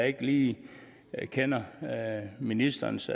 ikke lige kender ministerens